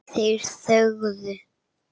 Þeir þögðu.